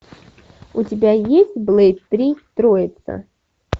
у тебя есть блэйд три троица